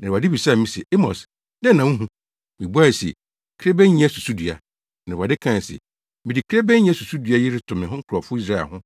Na Awurade bisaa me se, “Amos, dɛn na wuhu?” Mibuae se, “Kirebennyɛ susudua.” Na Awurade kae se, “Mede kirebennyɛ susudua yi reto me nkurɔfo Israelfo ho;